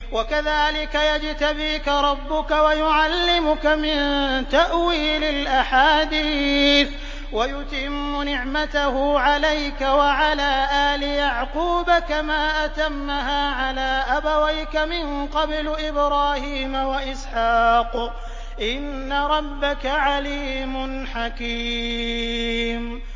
وَكَذَٰلِكَ يَجْتَبِيكَ رَبُّكَ وَيُعَلِّمُكَ مِن تَأْوِيلِ الْأَحَادِيثِ وَيُتِمُّ نِعْمَتَهُ عَلَيْكَ وَعَلَىٰ آلِ يَعْقُوبَ كَمَا أَتَمَّهَا عَلَىٰ أَبَوَيْكَ مِن قَبْلُ إِبْرَاهِيمَ وَإِسْحَاقَ ۚ إِنَّ رَبَّكَ عَلِيمٌ حَكِيمٌ